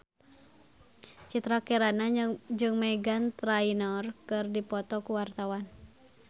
Citra Kirana jeung Meghan Trainor keur dipoto ku wartawan